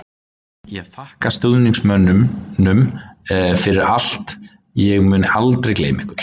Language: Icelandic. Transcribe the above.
Ég þakka stuðningsmönnunum fyrir allt, ég mun aldrei gleyma ykkur.